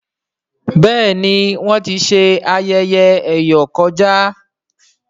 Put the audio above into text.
béèni Wón tí ṣe ayẹyẹ eyọ kọjá.